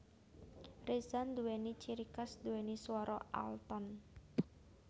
Reza nduwéni ciri khas nduwéni swara alton